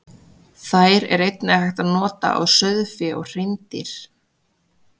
Þær er einnig hægt að nota á sauðfé og hreindýr.